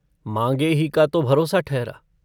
माँगे ही का तो भरोसा ठहरा।